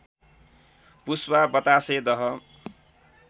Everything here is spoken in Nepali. पुस्वा बतासे दह